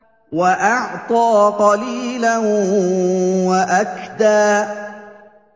وَأَعْطَىٰ قَلِيلًا وَأَكْدَىٰ